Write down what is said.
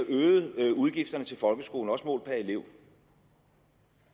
øget udgifterne til folkeskolen også målt per elev